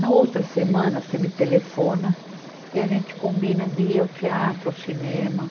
Na outra semana, você me telefona e a gente combina de ir ao teatro, ao cinema.